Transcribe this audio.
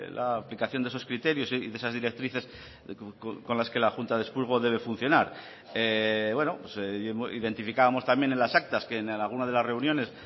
la aplicación de esos criterios y de esas directrices con las que la junta de expurgo debe funcionar identificábamos también en las actas que en alguna de las reuniones